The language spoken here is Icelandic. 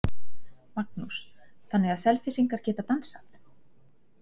Magnús: Þannig að Selfyssingar geta dansað?